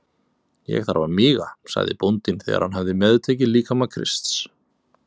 Ég þarf að míga, sagði bóndinn þegar hann hafði meðtekið líkama Krists.